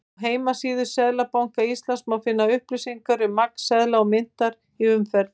Á heimasíðu Seðlabanka Íslands má finna upplýsingar um magn seðla og myntar í umferð.